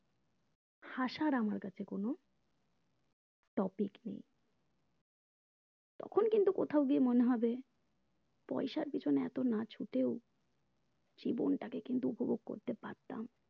হাসার আমার কাছে কোনো topic নেই তখন কিন্তু কোথাও গিয়ে মনে হবে পয়সার পেছনে এতো না ছুটেও জীবনটাকে কিন্তু উপভোগ করতে পারতাম